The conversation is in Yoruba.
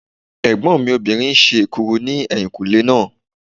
Ẹ̀gbọ́n mi obìnrin ń ṣe èkuru ní ẹ̀yìnkùnlé náà